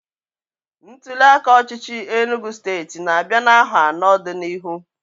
ntuliaka ọchịchị Enugu state n'abia n'aho ano do n'ihu